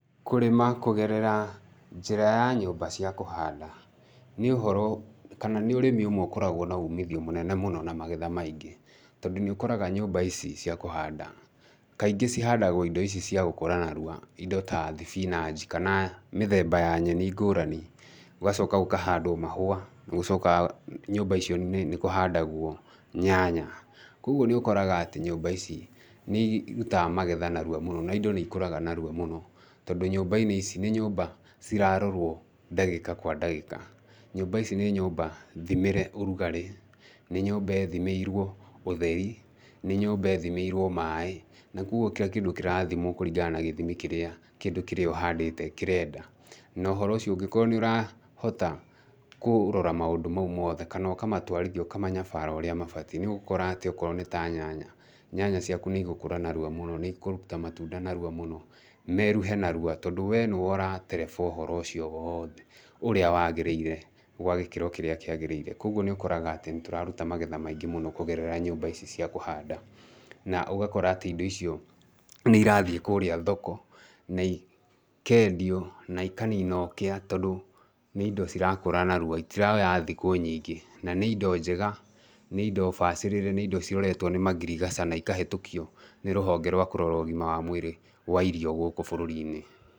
Kũrĩma kũgerera njĩra ya nyũmba cia kũhanda, nĩ ũhoro kana nĩ ũrĩmi ũmwe ũkoragwo na umithio mũnene mũno na magetha maingĩ, tondũ nĩ ũkoraga nyũmba ici cia kũhanda, kaingĩ ihandagwo indo ici cia gũkũra narua indo ta thibinanji kana mĩthemba ya nyeni ngũrani, gũgacoka gũkahandwo mahũa, nĩ gũcokaga nyũmba icio nĩ kũhandagwo nyanya. Koguo nĩ ũkoraga atĩ nyũmba icio nĩ irutaga magetha narua mũno na indo nĩ ikũraga narua mũno, tondũ nyũmba-inĩ ici nĩ nyũmba cirarorwo ndagĩka kwa ndagĩka, nyũmba ici nĩ nyũmba thimĩre ũrugarĩ, nĩ nyũmba ĩthimĩirwo ũtheri, nĩ nyũmba ĩthimĩirwo maĩ, na koguo kira kĩndũ kĩrathimwo kũringa na gĩthimi kĩrĩa kĩndũ kĩrĩa ũhandĩte kĩrenda, nohoro ũcio ũngĩkorwo nĩ ũrahota kũrora maũndũ mau mothe, kana ũkamatwarithia, ũkamanyabara ũrĩa mabatiĩ, nĩ ũgũkora atĩ okorwo nĩ ta nyanya, nyanya ciaku nĩ igũkũra narua mũno, nĩ ikũruta matunda narua mũno, meruhe narua tondũ wee nĩwe ũratereba ũhoro ũcio wothe, ũrĩa wagĩrĩire gwa gĩkĩro kĩrĩa kĩagĩrĩire, koguo nĩ ũkoraga atĩ nĩ tũraruta magetha maingĩ mũno kũgerera nyũmba ici cia kũhanda, na ũgakora atĩ indo icio nĩ irathiĩ kũrĩa thoko na ikendio, na ikanina ũkia tondũ nĩ indo cirakũra narua, itiroya thikũ nyingĩ, na nĩ indo njega, nĩ indo bacĩrĩre, nĩ indo iroretwo nĩ ngirigaca na ikahĩtũkio nĩ rũhonge rwa kũrora ũgima wa mwĩrĩ wa irio gũkũ bũrũri-inĩ.